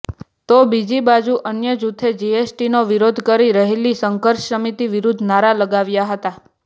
તો બીજી બાજુ અન્ય જૂથે જીએસટીનો વિરોધ કરી રહેલી સંઘર્ષ સમિતિ વિરુદ્ધ નારા લગાવ્યા હતા